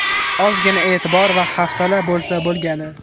Ozgina e’tibor va hafsala bo‘lsa bo‘lgani.